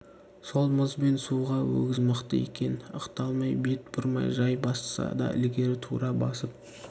сол мұз бен суға өгіз мықты екен ықтамай бет бұрмай жай басса да ілгері тура басып